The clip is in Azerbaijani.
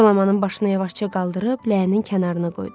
Jolamanın başını yavaşca qaldırıb ləyənin kənarına qoydu.